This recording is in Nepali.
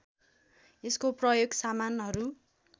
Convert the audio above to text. यसको प्रयोग सामानहरू